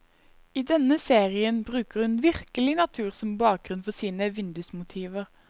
I denne serien bruker hun virkelig natur som bakgrunn for sine vindusmotiver.